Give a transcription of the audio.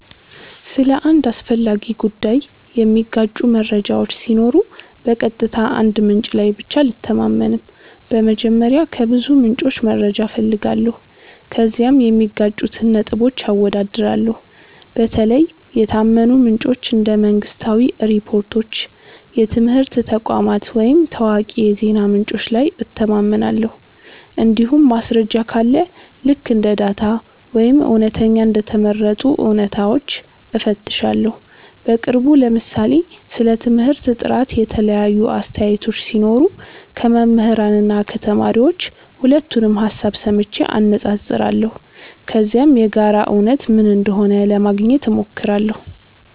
ስለ አንድ አስፈላጊ ጉዳይ የሚጋጩ መረጃዎች ሲኖሩ በቀጥታ አንድ ምንጭ ላይ ብቻ አልተማመንም። በመጀመሪያ ከብዙ ምንጮች መረጃ እፈልጋለሁ፣ ከዚያም የሚጋጩትን ነጥቦች አወዳድራለሁ። በተለይ የታመኑ ምንጮች እንደ መንግሥታዊ ሪፖርቶች፣ የትምህርት ተቋማት ወይም ታዋቂ የዜና ምንጮች ላይ እተማመናለሁ። እንዲሁም ማስረጃ ካለ ልክ እንደ ዳታ ወይም እውነተኛ እንደ ተመረጡ እውነታዎች እፈትሻለሁ። በቅርቡ ለምሳሌ ስለ ትምህርት ጥራት የተለያዩ አስተያየቶች ሲኖሩ ከመምህራን እና ከተማሪዎች ሁለቱንም ሀሳብ ሰምቼ አነፃፅራለሁ። ከዚያም የጋራ እውነት ምን እንደሆነ ለማግኘት ሞክራለሁ።